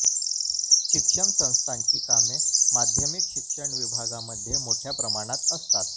शिक्षण संस्थांची कामे माध्यमिक शिक्षण विभागामध्ये मोठ्या प्रमाणात असतात